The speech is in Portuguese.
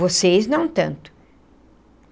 Vocês, não tanto.